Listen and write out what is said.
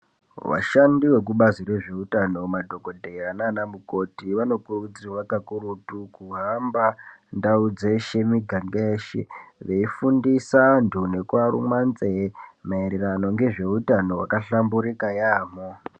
Vashandi vekubazi rezveutano madhokodheya nana mukoti vanokurudzirwa kakurutu kuhamba ndau dzeshe muganga yeshe veifundisa anthu nekuaruma nzee maererano ngezveutano wakahlamburika yaamho.